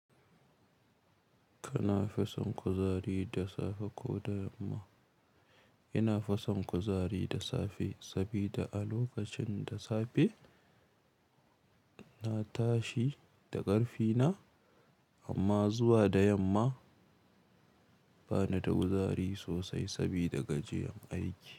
Kana fison kuzari da safe ko da yamma? Ina fason kuzari da safe sabida a lokacin da safe na tashi da ƙarfi na amma zuwa da yamma bani da kuzari sosai sabida gajiyan aiki.